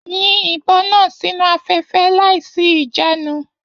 Yìn ìbọn náà sínú afẹfẹ láìsí ìjànu!